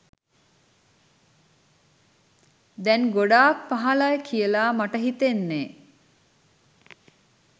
දැන් ගොඩක් පහලයි කියලා මට හිතෙන්නේ.